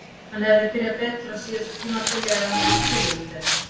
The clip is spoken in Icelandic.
Hann hefði byrjað betur á síðasta tímabili ef hann hefði skilið mig betur.